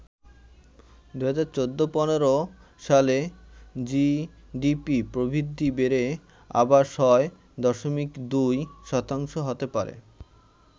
২০১৪-১৫ সালে জিডিপি প্রবৃদ্ধি বেড়ে আবার ৬ দশমিক ২ শতাংশ হতে পারে।